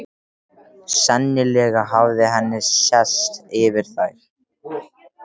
Sennilega hafði henni sést yfir þær.